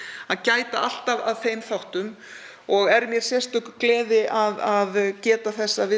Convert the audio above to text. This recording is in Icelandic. að gæta alltaf að þeim þáttum og er mér sérstök gleði að geta þess að við